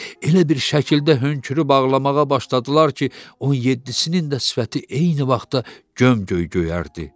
Elə bir şəkildə hönkürüb ağlamağa başladılar ki, 17-sinin də sifəti eyni vaxtda göm-göy göyərdi.